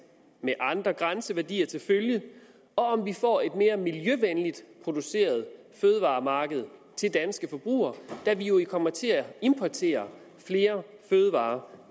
med andre grænseværdier til følge og om vi får et mere miljøvenligt produceret fødevaremarked til danske forbrugere da vi jo kommer til at importere flere fødevarer